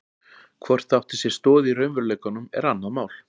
Hvort það átti sér stoð í raunveruleikanum er annað mál.